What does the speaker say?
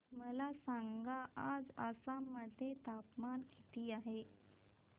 मला सांगा आज आसाम मध्ये तापमान किती आहे